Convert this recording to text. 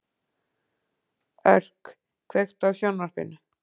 Örk, kveiktu á sjónvarpinu.